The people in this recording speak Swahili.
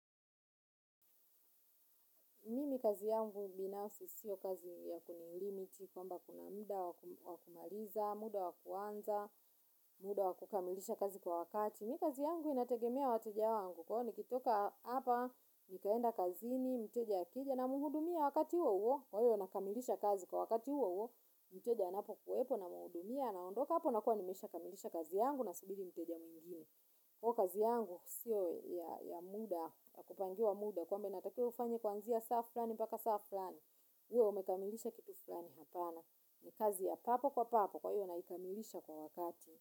Mimi kazi yangu binafsi sio kazi ya kuni limit kwamba kuna muda wa kumaliza, muda wa kuanza, muda wa kukamilisha kazi kwa wakati. Mimi kazi yangu inategemea wateja wangu kwa hivyo nikitoka hapa nikaenda kazini, mteja akija namuhudumia wakati huo uo. Kwa hivyo nakamilisha kazi kwa wakati huo uo, mteja anapo kuwepo namhudumia anaondoka hapo nakua nimeshaa kamilisha kazi yangu nasubiri mteja mwingine. Huwa kazi yangu, sio ya muda, ya kupangiwa muda, kwamba inatakiwa ufanyw kwanzia saa fulani mpaka saa fulani, uwe umekamilisha kitu fulani hapana, ni kazi ya papo kwa papo kwa hivyo naikamilisha kwa wakati.